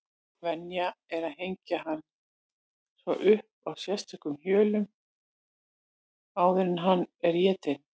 Venja er að hengja hann svo upp á sérstökum hjöllum áður en hann er étinn.